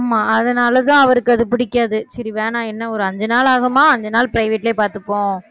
ஆமா, அதனாலதான் அவருக்கு அது பிடிக்காது சரி வேணாம் என்ன ஒரு அஞ்சு நாள் ஆகுமா அஞ்சு நாள் private லயே பார்த்துப்போம்